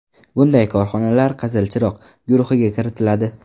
Bunday korxonalar ‘Qizil chiroq’ guruhiga kiritiladi.